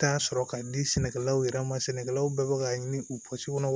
Taa sɔrɔ ka di sɛnɛkɛlaw yɛrɛ ma sɛnɛkɛlaw bɛ ka ɲini u